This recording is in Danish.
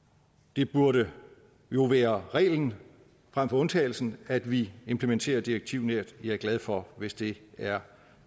det burde jo være reglen frem for undtagelsen at vi implementerer direktivnært jeg er glad for hvis det er